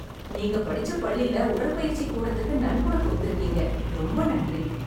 நீங்க படிச்ச பள்ளில உடற்பயிற்சிக் கூடத்துக்கு நன்கொடை கொடுத்துருக்கீங்க. ரொம்ப நன்றி.